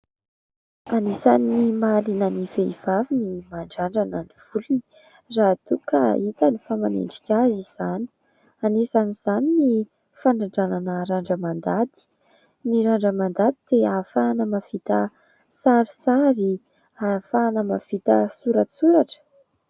Anisany mahaliana ny vehivavy ny mandrandrana ny volony raha toa ka hitany fa manendrika azy izany, anisan'izany ny fandrandranana randra-mandady, ny randra-mandady dia ahafahana mahavita sarisary, ahafahana mahavita soratsoratra.